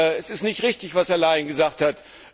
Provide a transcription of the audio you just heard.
Es ist nicht richtig, was Herr Leinen gesagt